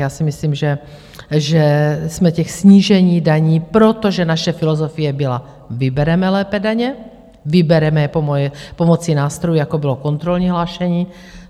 Já si myslím, že jsme těch snížení daní, protože naše filozofie byla: vybereme lépe daně, vybereme je pomocí nástrojů, jako bylo kontrolní hlášení.